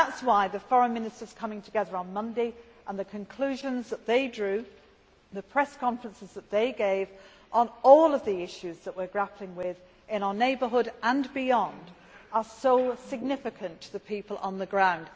That is why the Foreign Ministers coming together on Monday, the conclusions that they drew and the press conferences that they gave on all of the issues that we are grappling with, in our neighbourhood and beyond, are so significant to the people on the ground.